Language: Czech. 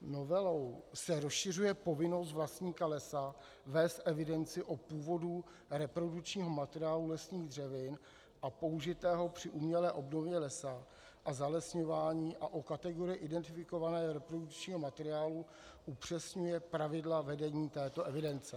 Novelou se rozšiřuje povinnost vlastníka lesa vést evidenci o původu reprodukčního materiálu lesních dřevin a použitého při umělé obnově lesa a zalesňování a o kategorii identifikovaného reprodukčního materiálu upřesňuje pravidla vedení této evidence (?).